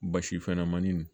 Basi fɛnɲamani